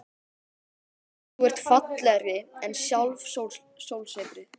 Þú ert fallegri en sjálft sólsetrið.